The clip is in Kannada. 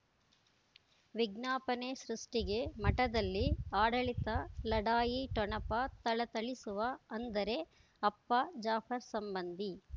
ವಿಜ್ಞಾಪನೆ ಸೃಷ್ಟಿಗೆ ಮಠದಲ್ಲಿ ಆಡಳಿತ ಲಢಾಯಿ ಠೊಣಪ ಥಳಥಳಿಸುವ ಅಂದರೆ ಅಪ್ಪ ಜಾಫರ್ ಸಂಬಂಧಿ